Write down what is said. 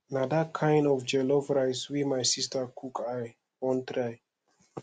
na dat kain jollof rice wey my sista cook i wan try